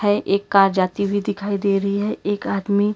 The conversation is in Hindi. यह एक कार जाती हुई दिखाई दे रही है एक आदमी--